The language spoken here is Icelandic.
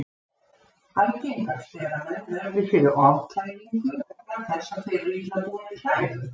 Algengast er að menn verði fyrir ofkælingu vegna þess að þeir eru illa búnir klæðum.